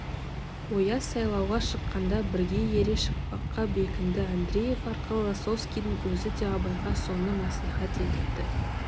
ояз сайлауға шыққанда бірге ере шықпаққа бекінді андреев арқылы лосовскийдің өзі де абайға соны мәслихат етіпті